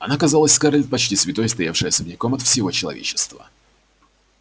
она казалась скарлетт почти святой стоявшей особняком от всего человечества